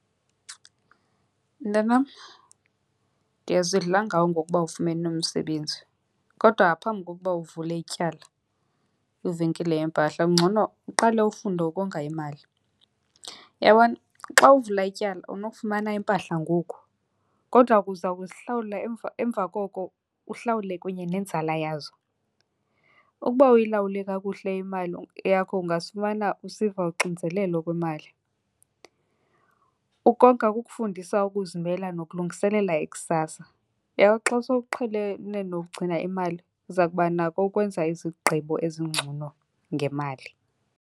Mntanam, ndiyazidla ngawe ngokuba ufumene umsebenzi, kodwa ngaphambi kokuba uvule ityala kwivenkile yempahla kungcono uqale ufunde ukonga imali. Uyabona xa uvula ityala unokufumana impahla ngoku, kodwa ke uza kuzihlawula emva koko uhlawule kunye nenzala yazo. Ukuba awuyilawuli kakuhle imali yakho ungazifumana usiva uxinzelelo kwimali. Ukonga kukufundisa ukuzimela nokulungiselela ikusasa. Uyabo xa sowuqhelene nokugcina imali uza kubanako ukwenza izigqibo ezingcono ngemali.